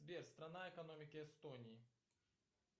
сбер страна экономики эстонии